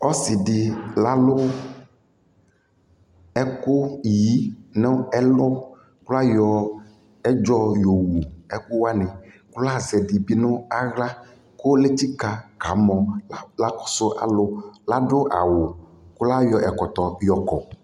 Ɔsi dι lalu ɛkʋyi nʋ ɛlʋ kʋ layɔ ɛdzɔ yowuɛkʋwani kʋ lazɛ ɛdι bι nʋ aɣla kʋ letsika kamɔ la kakɔsu alʋ La dʋ awu kʋ layɔ ɛkɔtɔ yɔkɔ